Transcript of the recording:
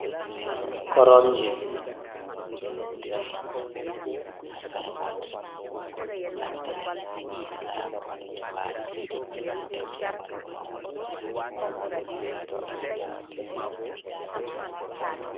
Koromje ɗo jooɗi, ɓeɗon naftira bee maaje ngam jooɗuki siuta e maa waaluki yaake goo.